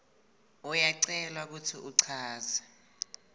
uyacelwa kutsi uchaze